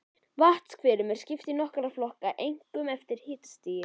Vatnshverum er skipt í nokkra flokka, einkum eftir hitastigi.